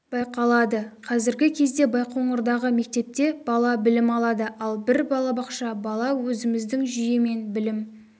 байқалады қазіргі кезде байқоңырдағы мектепте бала білім алады ал бір балабақша бала өзіміздің жүйемен білім